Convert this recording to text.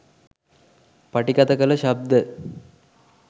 පටිගත කළ ශබ්ද